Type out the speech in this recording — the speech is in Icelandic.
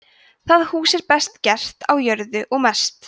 það hús er best gert á jörðu og mest